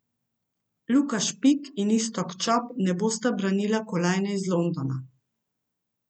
Luka Špik in Iztok Čop ne bosta branila kolajne iz Londona.